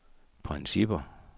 principper